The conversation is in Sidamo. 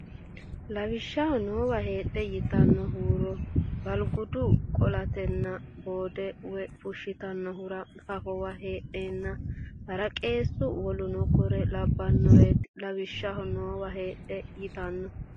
Lawishshaho noowa heedhe yitanno huuro balgudu qo laantenna bodde woy fushshitannohura fafowa heedheenna haraqeessu woluno kuri labbannoreeti Lawishshaho noowa heedhe yitanno.